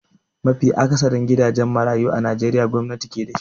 Mafi akatharin gidajen marayu a najeriya gwamnati ke da shi.